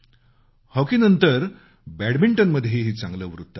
हॉकीनंतर बॅडमिंटनमध्येही चांगलं वृत्त आहे